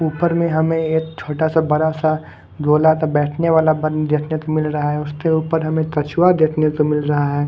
ऊपर में हमें एक छोटा सा बड़ा सा गोला का बैठने वाला बन देखने को मिल रहा है उसके ऊपर हमें कछुआ देखने को मिल रहा है।